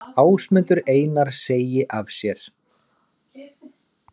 Ásmundur Einar segi af sér